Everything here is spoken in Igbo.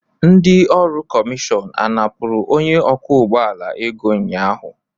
Ndị ọrụ kọmishọn a napụrụ onye ọkwọ ụgbọ ala ego ụnyahụ?